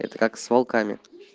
это как с волками